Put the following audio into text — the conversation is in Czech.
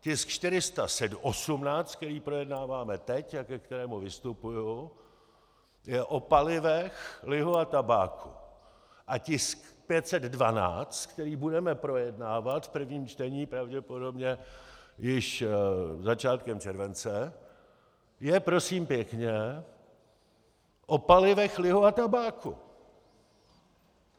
Tisk 418, který projednáváme teď a ke kterému vystupuji, je o palivech, lihu a tabáku a tisk 512, který budeme projednávat v prvním čtení pravděpodobně již začátkem července, je, prosím pěkně, o palivech, lihu a tabáku.